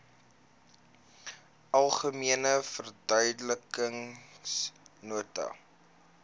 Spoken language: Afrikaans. algemene verduidelikende nota